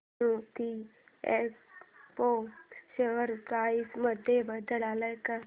Zenith Expo share price मध्ये बदल आलाय का